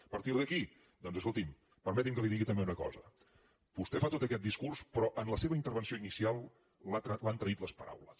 a partir d’aquí doncs escolti’m permeti’m que li digui també una cosa vostè fa tot aquest discurs però en la seva intervenció inicial l’han traït les paraules